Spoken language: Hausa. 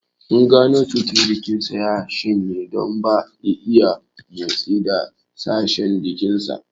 Mun gano cewar jikin sa ya shanye don ba ya iya motsi da sashen jikin sa